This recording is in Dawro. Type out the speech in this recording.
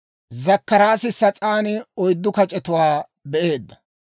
K'aykka taani sas'aan oyddu kac'etuwaa be'aad.